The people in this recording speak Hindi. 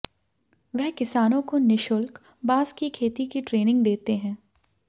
वह किसानों को निशुल्क बांस की खेती की ट्रेनिंग देते हैं